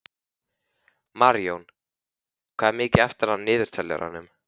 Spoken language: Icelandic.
Marjón, hvað er mikið eftir af niðurteljaranum?